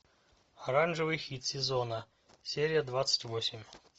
оранжевый хит сезона серия двадцать восемь